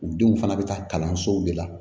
U denw fana bɛ taa kalansow de la